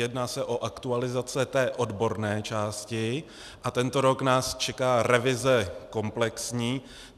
Jedná se o aktualizace té odborné části a tento rok nás čeká revize komplexní.